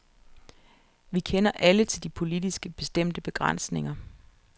Vi kender alle til de politisk bestemte begrænsninger.